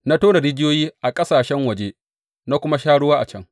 Na tona rijiyoyi a ƙasashen waje na kuma sha ruwa a can.